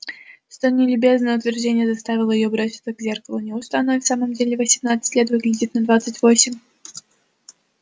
столь нелюбезное утверждение заставило её броситься к зеркалу неужто она и в самом деле в восемнадцать лет выглядит на двадцать восемь